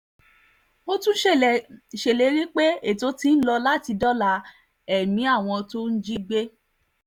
ó tún ṣèlérí pé ètò ti ń lọ láti dóòlà ẹ̀mí àwọn tí wọ́n jí gbé